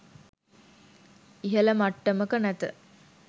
ඉහල මට්ටමක නැත.